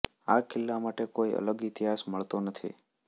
આ કિલ્લા માટે કોઈ અલગ ઇતિહાસ મળતો નથી